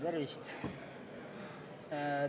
Tervist!